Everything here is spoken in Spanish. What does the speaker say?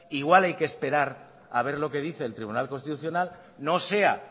igual hay que esperar a ver lo que dice el tribunal constitucional no sea